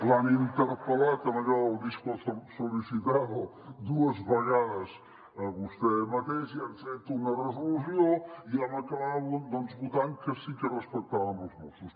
l’han interpel·lat amb allò del disco solicitado dues vegades a vostè mateix i han fet una resolució i vam acabar votant que sí que respectàvem els mossos